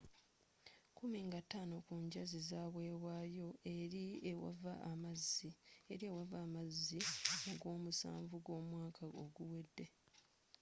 kkumi na taano ku njazi zawebwayo eri ewava amazzi mu gwomusanvu gw'omwaka oguwedde